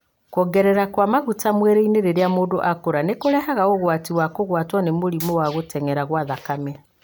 Kuongerereka kwa maguta mwĩrĩinĩ rĩrĩa mũndũ akũra nĩ kũrehaga ũgwati wa kũgwatwo nĩ mũrimũ wa gũtenyera gwa thakame.